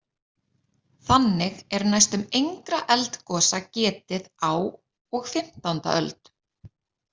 Þannig er næstum engra eldgosa getið á og fimmtánda öld.